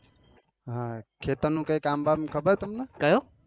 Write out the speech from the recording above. ખેતર નું કઈ કામ બામ ખબર તમને